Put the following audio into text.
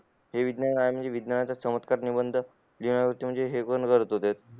म्हणजे विज्ञानाचा चमत्कार करत होते